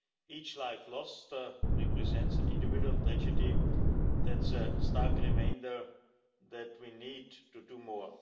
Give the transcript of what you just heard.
Each life lost represents an individual tragedy that's a stark reminder that we need to do more.